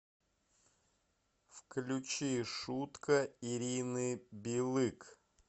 включи шутка ирины билык